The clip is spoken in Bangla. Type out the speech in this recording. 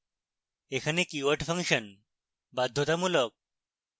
এখানে keyword ফাংশন বাধ্যতামূলক